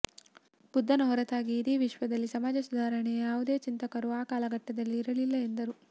ಬುದ್ಧನ ಹೊರತಾಗಿ ಇಡೀ ವಿಶ್ವದಲ್ಲಿ ಸಮಾಜ ಸುಧಾರಣೆಯ ಯಾವುದೇ ಚಿಂತಕರು ಆ ಕಾಲಘಟ್ಟದಲ್ಲಿ ಇರಲಿಲ್ಲ ಎಂದರು